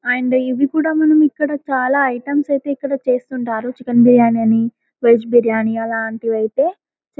and ఇవి కూడా మనం ఇక్కడ చాలా ఐటమ్స్ ఐతే ఇక్కడ చేస్తూంటారు చికెన్ బిర్యాని అని వెజ్ బిర్యాని అలాంటివి ఐతే --